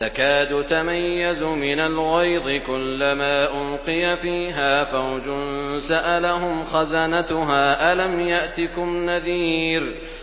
تَكَادُ تَمَيَّزُ مِنَ الْغَيْظِ ۖ كُلَّمَا أُلْقِيَ فِيهَا فَوْجٌ سَأَلَهُمْ خَزَنَتُهَا أَلَمْ يَأْتِكُمْ نَذِيرٌ